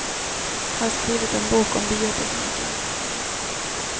Har skrivit en bok om biotekniken.